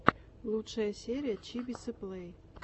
лучшая серия чибисы плэй